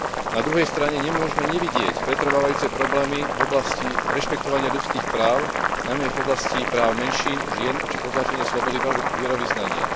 Na druhej strane nemôžme nevidieť pretrvávajúce problémy v oblasti rešpektovania ľudských práv, najmä v oblasti práv menšín, žien či potláčania slobody vierovyznania.